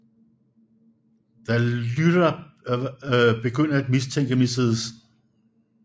Da Lyra begynder af mistænke Mrs